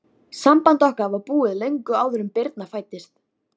Þá skyldi fyrst sveigt austur til Noregs.